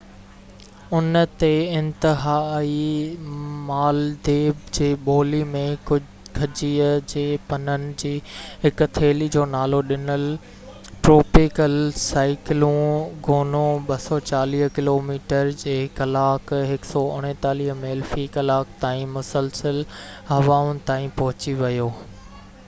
ان جي انتها تي، مالديپ جي ٻولي ۾ کجيءَ جي پنن جي هڪ ٿيلي جو نالو ڏنل، ٽروپيڪل سائيڪلون گونو، 240 ڪلوميٽر في ڪلاڪ 149 ميل في ڪلاڪ تائين مسلسل هوائن تائين پهچي ويو